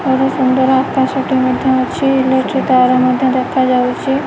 ଆଉ ଗୋଟେ ସୁନ୍ଦର ଆକାଶ ଟିଏ ମଧ୍ୟ ଅଛି ଇଲେକ୍ଟ୍ରି ତାର ମଧ୍ୟ ଦେଖା ହୋଉଛି।